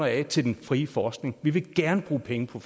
af til den frie forskning vi vil gerne bruge penge på